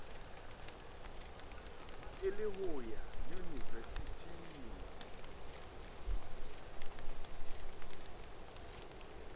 e le ho ya yunivesithing